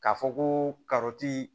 K'a fɔ ko